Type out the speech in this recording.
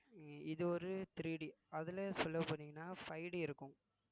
இது ஒரு 3D அதுல சொல்ல போனீங்கன்னா five D இருக்கும்